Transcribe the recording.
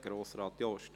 Grossrat Jost.